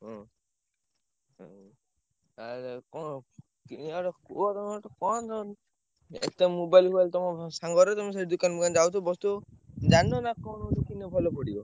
ହୁଁ। ଆଉ ଭାଇ କଣ କିଣିଆ ଗୋଟେ ଏଠି ତ mobile ଫୋବାଇଲି ତମ ସାଙ୍ଗର ଯେ ମୁଁ ସେ ଦୋକାନ ଯାଉଚି ବସିଥିବ। ଜାଣିନ ନା କୋଉ ଗୋଟା କିଣିଲେ ଭଲ ପଡିବ?